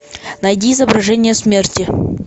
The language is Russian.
найди изображение смерти